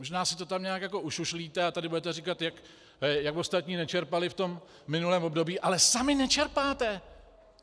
Možná si to tam nějak jako ušušlíte a tady budete říkat, jak ostatní nečerpali v tom minulém období, ale sami nečerpáte!